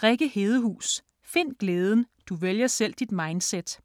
Hedehus, Rikke: Find glæden: du vælger selv dit mindset